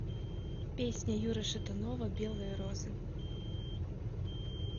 песня юры шатунова белые розы